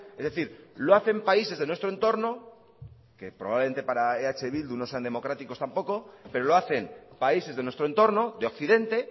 es decir lo hacen países de nuestro entorno que probablemente para eh bildu no sean democráticos tampoco pero lo hacen países de nuestro entorno de occidente